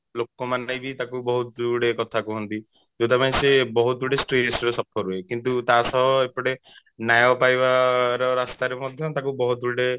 ଲୋକମାନେ ବି ତାକୁ ବହୁତ ଗୁଡେ କଥା କୁହନ୍ତି ଯଉଟା ପାଇଁ ସେ ବହୁତ ଗୁଡେ stress ର suffer ହୁଏ କିନ୍ତୁ ତାସହ ଏପଟେ ନ୍ୟାୟ ପାଇବା ରାସ୍ତାରେ ମଧ୍ୟ ତାକୁ ବହୁତ ଗୁଡେ